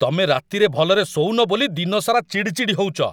ତମେ ରାତିରେ ଭଲରେ ଶୋଉନ ବୋଲି ଦିନସାରା ଚିଡ଼ଚିଡ଼ ହଉଚ ।